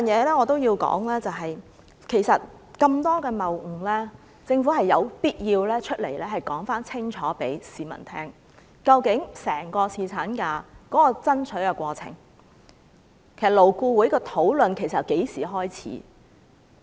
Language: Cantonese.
另外，我也要說說，其實有那麼多謬誤，政府有必要清楚告訴市民，究竟爭取侍產假的整個過程是怎樣的，勞顧會的討論其實由何時開始。